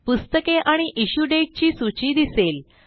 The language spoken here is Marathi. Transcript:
पुस्तके आणि इश्यू दाते ची सूची दिसेल